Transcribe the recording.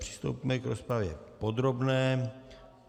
Přistoupíme k rozpravě podrobné.